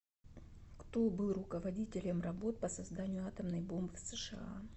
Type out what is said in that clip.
кто был руководителем работ по созданию атомной бомбы в сша